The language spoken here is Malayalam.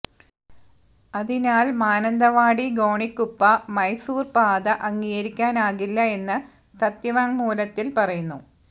അതിനാല് മാനന്തവാടി ഗോണിക്കുപ്പ മൈസൂര് പാത അംഗീകരിക്കാനാകില്ല എന്ന് സത്യവാങ്മൂലത്തില് പറയുന്നു